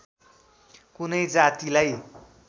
कुनै जातिलाई